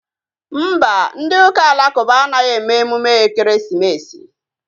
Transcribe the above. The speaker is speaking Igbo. Mba, ndị ụka alakụba anaghị eme emume ekeresimesi